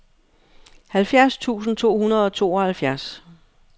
halvfjerds tusind to hundrede og tooghalvfjerds